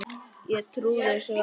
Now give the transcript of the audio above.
Ég trúi þessu varla ennþá.